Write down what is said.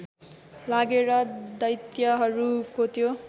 लागेर दैत्यहरूको त्यो